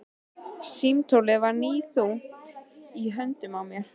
Símtólið var níðþungt í höndunum á mér.